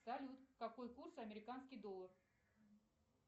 салют какой курс американский доллар